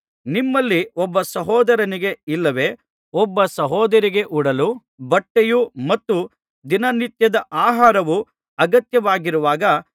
ನಿಮ್ಮಲ್ಲಿ ಒಬ್ಬ ಸಹೋದರನಿಗೆ ಇಲ್ಲವೆ ಒಬ್ಬ ಸಹೋದರಿಗೆ ಉಡಲು ಬಟ್ಟೆಯೂ ಮತ್ತು ದಿನನಿತ್ಯದ ಆಹಾರವೂ ಅಗತ್ಯವಾಗಿರುವಾಗ